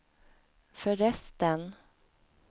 förresten